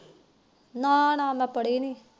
ਨਾ ਨਾ ਮੈ ਪੜੇ ਨੀ